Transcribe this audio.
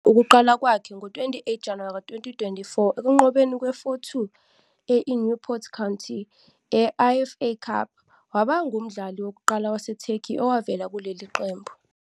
Wenza ukuqala kwakhe ngo-28 January 2024 ekunqobeni kwe-4-2 e-INewport County e-I-FA Cup, waba ngumdlali wokuqala waseTurkey owavela kuleli qembu.